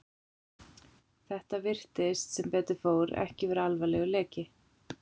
Þetta virtist, sem betur fór, ekki vera alvarlegur leki.